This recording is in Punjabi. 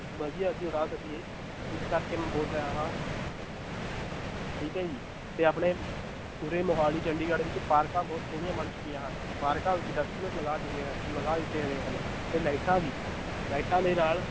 ਵਧੀਆ ਅਸੀਂ ਉਡਾ ਸਕੀਏ, ਇਸ ਕਰਕੇ ਮੈਂ ਬੋਲ ਰਿਹਾ ਹਾਂ ਠੀਕ ਹੈ ਜੀ ਤੇ ਆਪਣੇ ਉਰੇ ਮੁਹਾਲੀ ਚੰਡੀਗੜ੍ਹ ਵਿੱਚ ਪਾਰਕਾਂ ਬਹੁਤ ਸੋਹਣੀਆਂ ਬਣ ਚੁੱਕੀਆਂ ਹਨ, ਪਾਰਕਾਂ ਵਿੱਚ ਲਗਾ ਚੁੱਕੇ ਹਨ, ਲਗਾ ਦਿੱਤੇ ਗਏ ਹਨ ਤੇ ਲਾਇਟਾਂ ਵੀ ਲਾਇਟਾਂ ਦੇ ਨਾਲ